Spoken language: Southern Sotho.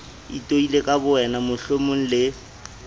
itoile ka bowena mohlomong le